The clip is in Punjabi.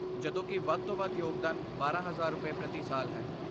ਜਦੋਂਕਿ , ਵੱਧ ਤੋਂ ਵੱਧ ਯੋਗਦਾਨ ਬਾਰਾਂ ਹਜ਼ਾਰ ਰੁਪਏ, ਪ੍ਰਤੀ ਸਾਲ ਹੈ